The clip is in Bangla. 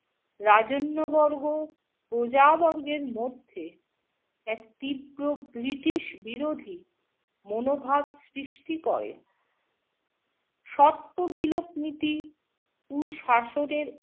রাজন্যবর্গ প্রজাবর্গের মধ্যে এক তীব্র ব্রিটিশ-বিরোধী মনোভাব সৃষ্টি করে। স্বত্ববিলোপ নীতি কুশাসনের